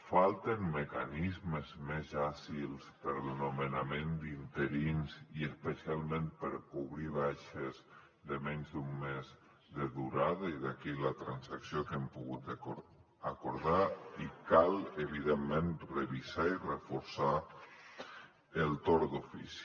falten mecanismes més àgils per al nomenament d’interins i especialment per cobrir baixes de menys d’un mes de durada i d’aquí la transacció que hem pogut acordar i cal evidentment revisar i reforçar el torn d’ofici